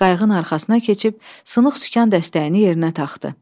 Qayığın arxasına keçib sınıq sükan dəstəyini yerinə taxdı.